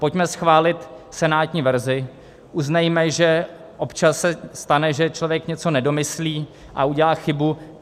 Pojďme schválit senátní verzi, uznejme, že občas se stane, že člověk něco nedomyslí a udělá chybu.